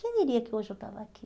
Quem diria que hoje eu estava aqui?